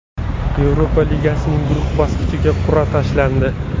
Yevropa Ligasining guruh bosqichiga qur’a tashlandi.